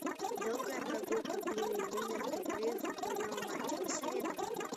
долгая прогулка билли линна в перерыве футбольного матча посоветуй мне